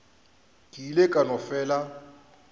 ke ile ka no fela